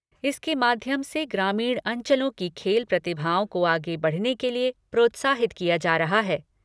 इसके माध्यम से ग्रामीण अंचलों की खेल प्रतिभाओं को आगे बढ़ने के लिए प्रोत्साहित किया जा रहा है।